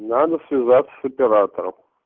надо связаться с оператором